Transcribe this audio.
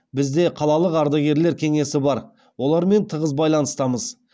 бізде қалалық ардагерлер кеңесі бар олармен тығыз байланыстамыз